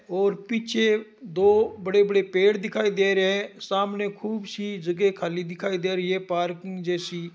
और पीछे दो बड़े बड़े पेड़ दिखाई दे रहे है सामने खूब सी जगह खाली दिखाई दे रही है पार्किंग जैसी --